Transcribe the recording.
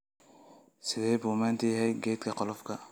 Sidee buu maanta yahay kaydka qolofka?